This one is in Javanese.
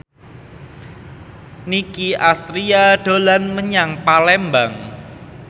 Nicky Astria dolan menyang Palembang